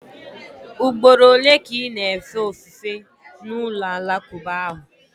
Ugboro ole ka ị na-efe ofufe na ụlọ alakụba ahụ?